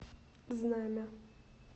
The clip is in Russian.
знамя